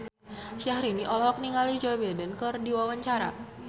Syahrini olohok ningali Joe Biden keur diwawancara